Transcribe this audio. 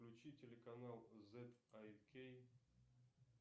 включи телеканал зет ай кей